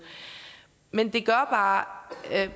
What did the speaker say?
men det gør bare